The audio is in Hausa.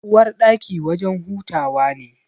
Uwarɗaki wajen hutawa ne.